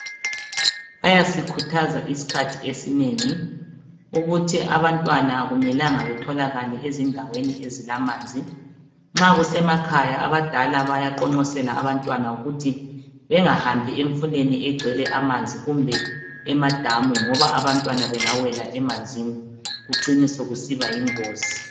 Bayasikhuthaza isikhathi esinengi ukuthi abantwana akumelanga betholakale ezindaweni ezilamanzi nxa kusemakhaya abadala bayaqonqosela abantwana ukuthi bengahambi emfuleni egcwele amanzi kumbe emadamu ngoba abantwana bengawela emanzini kucine sokusiba yingozi.